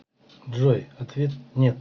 джой ответ нет